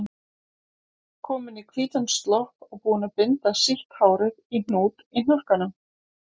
Komin í hvítan slopp og búin að binda sítt hárið í hnút í hnakkanum.